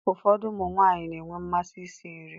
Ụfọdụ ụmụ nwaanyị na-enwe mmasị isi nri.